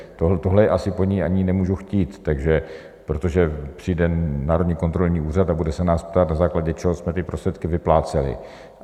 Tohle asi po ní ani nemůžu chtít, protože přijde Národní kontrolní úřad a bude se nás ptát, na základě čeho jsme ty prostředky vypláceli.